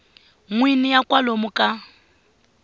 n wini ya kwalomu ka